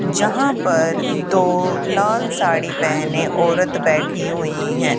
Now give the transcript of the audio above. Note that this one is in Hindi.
यहां पर दो लाल साड़ी पहने औरत बैठी हुई हैं।